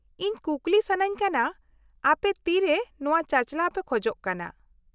-ᱤᱧ ᱠᱩᱠᱞᱤ ᱥᱟᱹᱱᱟᱹᱧ ᱠᱟᱱᱟ , ᱟᱯᱮ ᱛᱤᱨᱮ ᱱᱚᱶᱟ ᱪᱟᱼᱪᱟᱞᱟᱣ ᱯᱮ ᱠᱷᱚᱡᱚᱜ ᱠᱟᱱᱟ ?